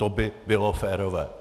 To by bylo férové.